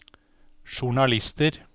journalister